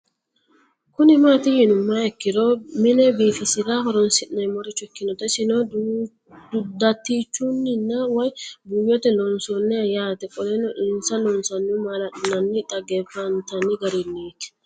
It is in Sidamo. Kuni mati yinumoha ikiro mine bifisirae horonsine'morich ikinota isino datichunina woyi buuyote loonsaniho yaate qoleno insa loonsonihu malali'nanina xagefantani gariniti